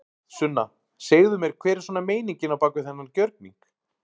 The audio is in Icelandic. Sunna: Segðu mér hver er svona meiningin á bak við þennan gjörning?